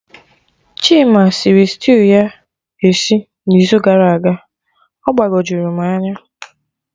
Chima sịrị stew ya esi na izu gara aga, ọ gbagojuru m anya